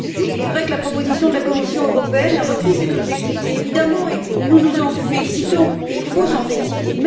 Il est vrai que la proposition de la Commission européenne a repris cet objectif et, évidemment, nous nous en félicitons, et il faut s'en féliciter.